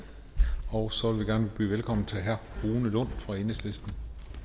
og så vil vi gerne byde velkommen til herre rune lund fra enhedslisten